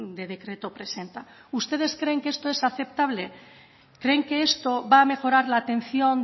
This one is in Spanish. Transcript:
de decreto presenta ustedes creen que esto es aceptable creen que esto va a mejorar la atención